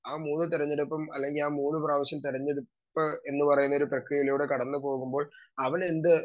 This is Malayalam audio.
സ്പീക്കർ 2 ആ മൂന്ന് തെരഞ്ഞെടുപ്പും അല്ലെങ്കി ആ മൂന്ന് പ്രാവശ്യം തെരഞ്ഞെടുപ്പ് എന്നുപറയുന്ന പ്രക്രിയയിലൂടെ കടന്നു പോകുമ്പോൾ അവലെന്ത്